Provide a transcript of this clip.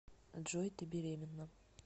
джой ты беременна